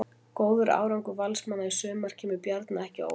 Góður árangur Valsmanna í sumar kemur Bjarna ekki á óvart.